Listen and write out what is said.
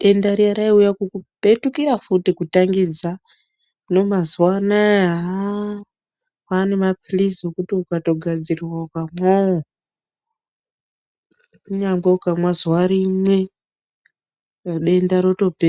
denda riya raiuya kukupetukira futi kutangidza. Hino mazuwa anaa aah kwaane maphirizi ekuti ukatogadzirirwa ukamwawo kunyangwe ukamwa zuwa rimwe denda rotopera.